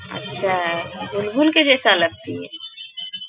अच्छा है बुलबुल के जैसा लगती है।